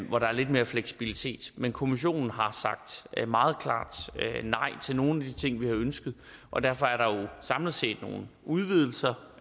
hvor der er lidt mere fleksibilitet men kommissionen har sagt meget klart nej til nogle af de ting vi har ønsket og derfor er der jo samlet set nogle udvidelser